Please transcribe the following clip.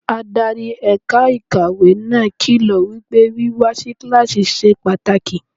Adarí ẹ̀ka ìkàwé náà kìlọ̀ wípé wíwá si kíláàsì ṣe pàtàkì.